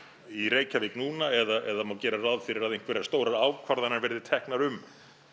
í Reykjavík núna eða má gera ráð fyrir að einhverjar stórar ákvarðanir verði teknar um